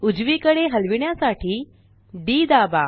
उजवीकडे हलविण्यासाठी डी दाबा